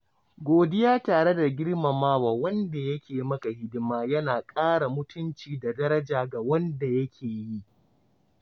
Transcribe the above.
Godiya tare da girmamawa wanda ya ke maka hidima yana ƙara mutunci da daraja ga wanda ya ke yi.